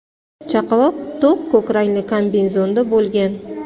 Chaqaloq to‘q ko‘k rangli kombinezonda bo‘lgan.